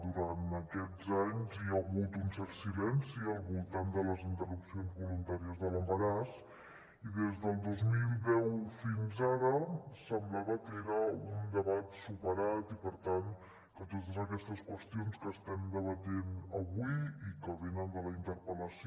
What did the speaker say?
durant aquests anys hi ha hagut un cert silenci al voltant de les interrupcions voluntàries de l’embaràs i des del dos mil deu fins ara semblava que era un debat superat i per tant que totes aquestes qüestions que estem debatent avui i que venen de la in·terpel·lació